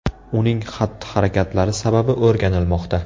Uning xatti-harakatlari sababi o‘rganilmoqda.